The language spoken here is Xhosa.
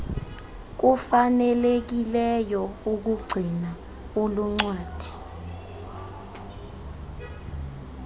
kufanelekileyo ukugcina uluncwadi